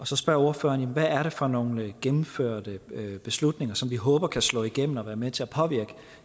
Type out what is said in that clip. så spørger ordføreren hvad det er for nogle gennemførte beslutninger som vi håber kan slå igennem og være med til at påvirke